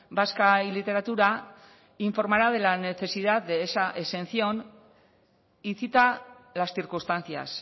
vasca y literatura informará de la necesidad de esa exención y cita las circunstancias